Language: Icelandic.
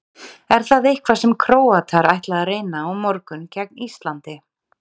Er það eitthvað sem Króatar ætla að reyna á morgun gegn Íslandi?